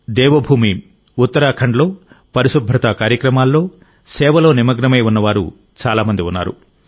దేవభూమి ఉత్తరాఖండ్లో పరిశుభ్రతా కార్యక్రమాల్లో సేవలో నిమగ్నమై ఉన్నవారు చాలా మంది ఉన్నారు